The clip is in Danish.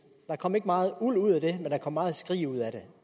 der kom ikke meget uld ud af det men der kom meget skrig ud af det